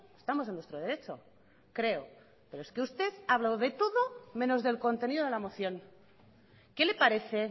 estamos en nuestro derecho creo pero es que usted ha hablado de todo menos del contenido de la moción qué le parece